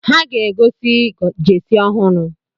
Ha ga-ego jesi ọhụrụ